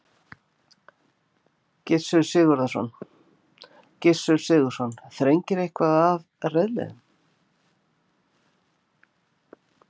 Gissur Sigurðsson: Þrengir eitthvað að reiðleiðum?